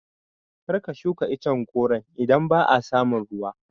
Kar ka shuka icen goron idan ba a samun ruwa